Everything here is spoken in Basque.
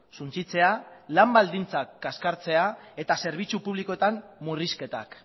suntsitzea lan baldintzak kaskartzea eta zerbitzu publikoetan murrizketak